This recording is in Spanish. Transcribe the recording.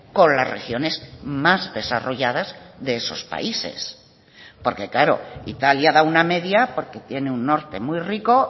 con las regiones más desarrolladas de esos países porque claro italia da una media porque tiene un norte muy rico